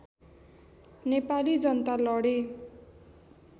नेपाली जनता लडे